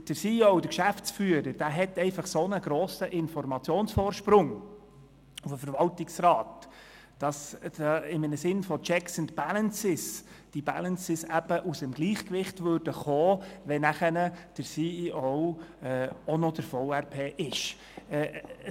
Der Geschäftsführer hat einen derart grossen Informationsvorsprung gegenüber dem Verwaltungsrat, dass im Sinne der Checks and Balances die Balances aus dem Gleichgewicht geraten würden, wenn der CEO auch noch der Verwaltungsratspräsident wäre.